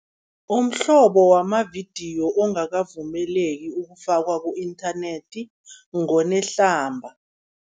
Umhlobo wamavidiyo ongakavumeleki ukufakwa ku-inthanethi ngonehlamba.